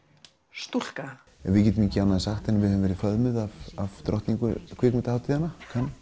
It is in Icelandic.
stúlka við getum ekki annað sagt en að við höfum verið föðmuð af drottningu kvikmyndahátíða